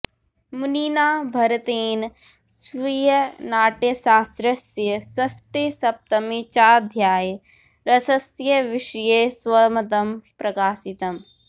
मुनिना भरतेन स्वीयनाट्यशास्त्रस्य षष्ठे सप्तमे चाध्याये रसस्य विषये स्वमतं प्रकाशितम्